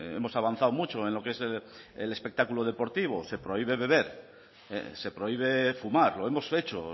hemos avanzado mucho en lo que es el espectáculo deportivo se prohíbe beber se prohíbe fumar lo hemos hecho